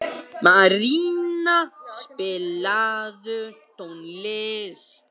Maríanna, spilaðu tónlist.